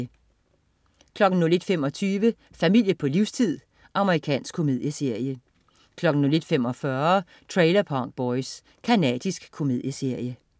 01.25 Familie på livstid. Amerikansk komedieserie 01.45 Trailer Park Boys. Canadisk komedieserie